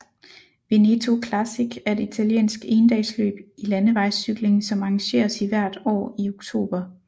Veneto Classic er et italiensk endagsløb i landevejscykling som arrangeres hvert år i oktober